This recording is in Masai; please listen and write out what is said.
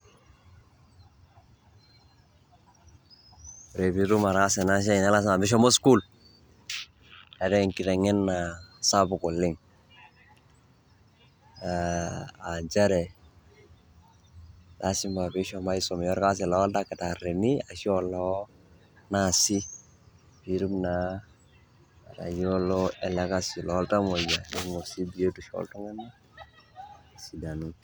Ore pitum ataasa enasiai na lasima pishomo sukuul, eetae enkiteng'ena sapuk oleng'. Ah njere, lasima pishomo aisumia orkasi loo irkitaarrini ashu olo, naasi, naa atayiolo elekasi loltamoyia eimu si biotisho oltung'anak esidanu.